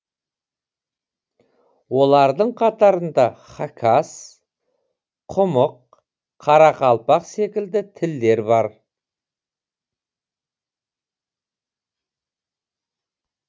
олардың қатарында хакас құмық қарақалпақ секілді тілдер бар